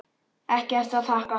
Ekkert að þakka